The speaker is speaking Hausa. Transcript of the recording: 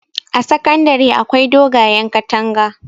a sakandare akwai dogayen katanga